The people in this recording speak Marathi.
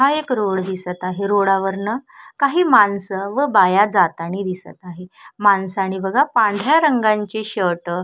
हा एक रोड दिसत आहे रोडा वरण काही माणस व बाया जातानी दिसत आहे माणसाने बघा पांढऱ्या रंगाचे शर्ट --